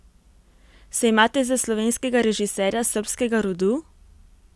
Se imate za slovenskega režiserja srbskega rodu?